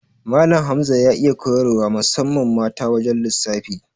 Malan Hamza ya iya koyar wa musamman ma ta wajan lissafi